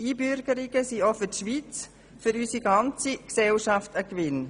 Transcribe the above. Einbürgerungen sind auch für die Schweiz und unsere ganze Gesellschaft ein Gewinn.